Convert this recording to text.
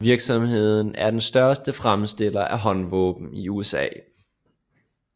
Virksomheden er den største fremstiller af håndvåben i USA